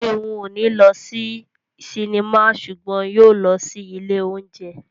Ṣeun ò ní lọ sí sinimá ṣùgbọ́n yóò lọ sí ilé óúnjẹ